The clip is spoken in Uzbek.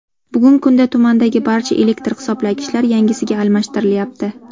Bugungi kunda tumandagi barcha elektr hisoblagichlar yangisiga almashtirilyapti.